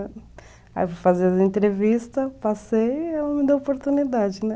Aí eu fui fazer as entrevistas, passei e ela me deu a oportunidade, né?